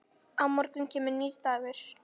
Á morgun kemur nýr dagur.